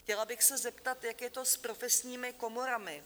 Chtěla bych se zeptat, jak je to s profesními komorami?